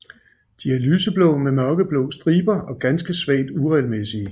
De er lyseblå med mørkeblå striber og ganske svagt uregelmæssige